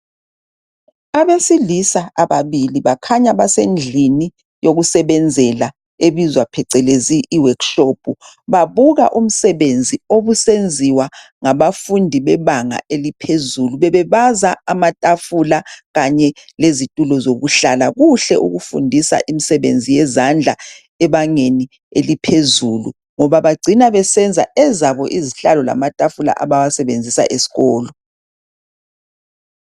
Abesilisa ababili bakhanya basendlini eyokusebenzela ebizwa phecelezi iworkshop. Babuka umsebenzi obusenziwa ngabafundi bebanga eliphezulu. Bebebaza amatafula kanye lezitulo zokuhlala. Kuhle ukufundisa imisebenzi yezandla ebangeni eliphezulu ngoba bagcina besenza ezabonizihlalo lamatafula abawasebenzisa esikolo.